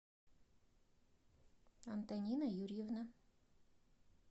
антонина юрьевна